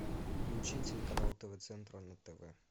включи телеканал тв центр на тв